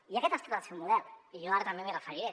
i aquest ha estat el seu model i jo ara també m’hi referiré